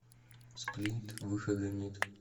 сплин выхода нет